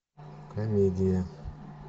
комедия